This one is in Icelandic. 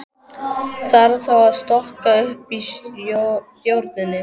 Þarf þá að stokka upp í stjórninni?